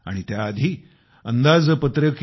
रात्री उशिरापर्यंत संसदेचे काम सुरु होते